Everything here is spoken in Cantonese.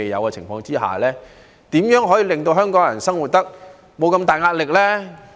在這情況下，如何令香港人生活得沒這麼大壓力？